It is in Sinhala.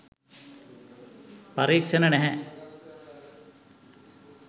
පරීක්ෂණ නැහැ